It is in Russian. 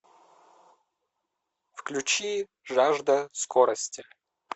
включи жажда скорости